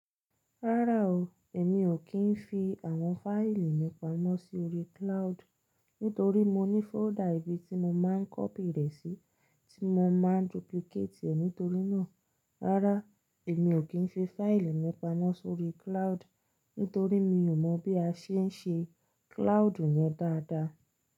Rárá o, èmi ò kí ń fi àwọn fáìlì mi pamọ́ sórí cloud. Nítorí mo ní fọ́ldà ibi tí mo máa ń kọ́pì rẹ̀ sí tí mo máa ń duplicate ẹ̀ nítorí náà. Rárá, èmi ò kí ń fi fáìlì mi pamọ́ sórí cloud. Nítorí mi ò mọ̀ bí a ṣe ń ṣe cloud yẹn dáadáa.